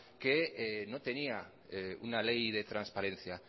que no tenía una ley de transparencia